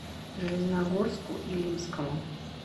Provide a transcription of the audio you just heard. железногорску илимскому